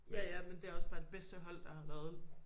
Ja ja men det er også bare det bedste hold der har været